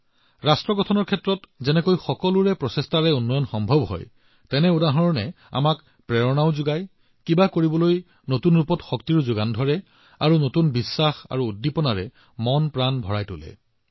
ৰাষ্ট্ৰ নিৰ্মাণৰ বাবে সকলোৰে প্ৰচেষ্টা কেনেদৰে বৃদ্ধি পায় তাৰ উদাহৰণে আমাক অনুপ্ৰাণিত কৰে আৰু কিবা এটা কৰিবলৈ নতুন আত্মবিশ্বাস সৃষ্টি কৰিবলৈ আমাৰ সংকল্পত প্ৰাণ উশাহ লবলৈ এক নতুন শক্তি প্ৰদান কৰে